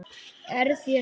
Er þér sama?